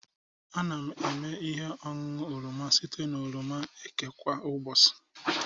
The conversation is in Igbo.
Ana m eme ihe ọṅụṅụ oroma site na oroma eke kwa ụbọchị